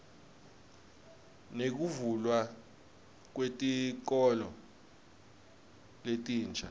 nekuvulwa kwetikolo letinsha